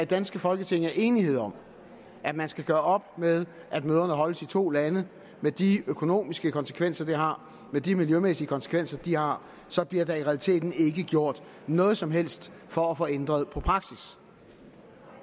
danske folketing er enighed om at man skal gøre op med at møderne holdes i to lande med de økonomiske konsekvenser det har med de miljømæssige konsekvenser det har så bliver der i realiteten ikke gjort noget som helst for at få ændret på praksis